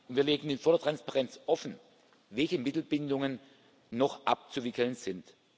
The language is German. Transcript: Wir legen mit voller Transparenz offen, welche Mittelbindungen noch abzuwickeln sind.